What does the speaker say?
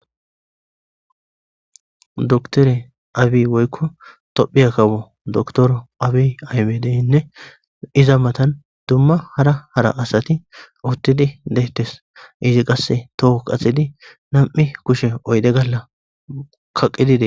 Dokitere abiy woykon tophiya kawo dokitere abiy ahimedeyne pizza mattan dumma hara hara asati uttidi dettesi izzi qase toho qaxidi nam'u kushe oyde Galla qaqidi Des.